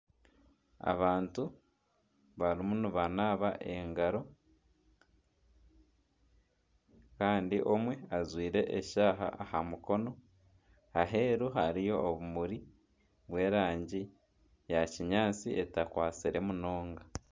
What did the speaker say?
Abantu barimu nibanaba engaro kandi omwe ajwaire eshaaha aha mukono aheeru hariyo obumuri bw'erangi ya kinyaatsi etakwatsire munonga.